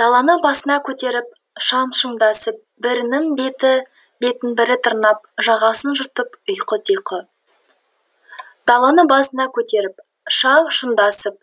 даланы басына көтеріп шаң шұңдасып бірінің бетін бірі тырнап жағасын жыртып ұйқы тұйқы даланы басына көтеріп шаң шұңдасып